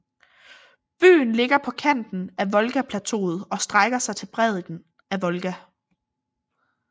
Byen ligger på kanten af Volgaplateauet og strækker sig til bredden af Volga